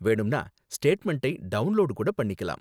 வேணும்னா, ஸ்டேட்மெண்டை டவுண்லோடு கூட பண்ணிக்கலாம்.